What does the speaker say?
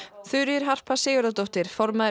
Þuríður Harpa Sigurðardóttir formaður